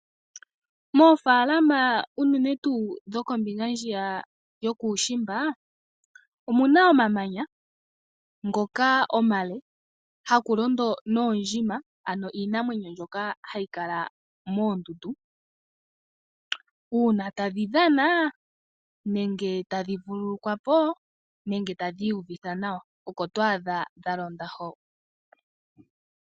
Moofalama uunene tuu dhokombinga ndjiya yokuushimba omu na omamanya haku londo noondjima, ano iinamwenyo mbyoka hayi kala moonduundu. Uuna tadhi dhana nenge tadhi vululukwa po nenge tadhi iyuvitha nawa oko twaadha dha londa ho.